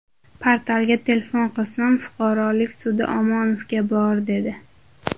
Portalga telefon qilsam, fuqarolik sudi Omonovga bor, dedi.